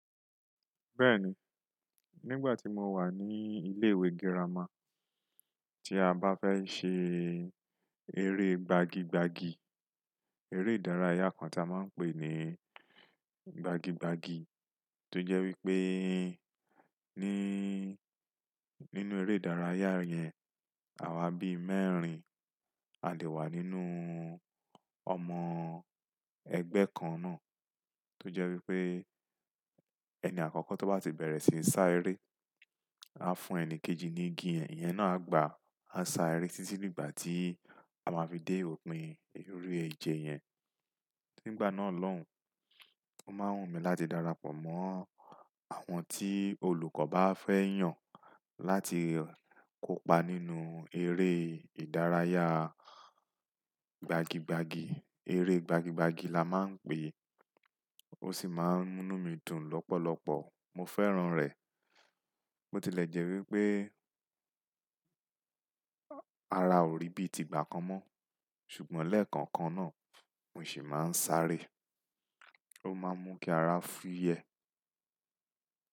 Bẹ́ẹ̀ni, nígbà tí mo wà ní ilé ìwé girama, tí a bá fẹ́ ṣe eré gbagi gbagi, eré ìdárayá kan tí a máa ń pè ní gbagi gbagi, tó jẹ́ wípé ní, nínú eré ìdárayá yẹn, àwa bí mẹ́rin a lè wà nínú ọmọ ẹgbẹ́ kan náà. Tó jẹ́ wípé ẹni àkọ́kọ́ tó bá ti bẹ̀rẹ̀ síí sá eré, á fún ẹni kejì ní igi ẹ, ìyẹn náà á gba á sá eré tí tí dìgbà tí a máa fi dé òpin eré eje yẹn. Nígbà náà lòun, ó máa ń wù mí láti darapọ̀ mọ́ àwọn tí olùkọ́ bá fẹ́ yàn láti kópa nínú eré ìdárayá gbagi gbagi, eré gbagi gbagi la máa ń pè é. Ó sì máa ń mú nú mi dùn lọ́pọ̀lọpọ̀, mo fẹ́ràn rẹ̀. Bó ti lẹ̀ jẹ́ wípé ara òrí bí ti gbà kan mọ́, ṣùgbọ́n lẹ́ẹ̀kọ̀ kan náà mo ṣì máa ń sá ré, ó máa ń mú kí ara fúyẹ.